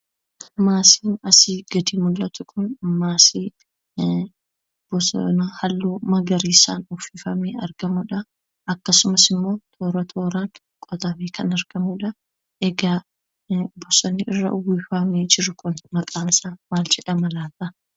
Maasiin asi gadi mul'atu kun, maasii bosona halluu magariisaan uffifamee argamuudha. Akkasumas immoo toora-tooraan qotamee kan argamuudha. Egaa bosonni irra uffifamee jiru kun, maqaan isaa maal jedhama?